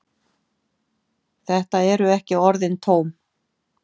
Þetta eru ekki orðin tóm.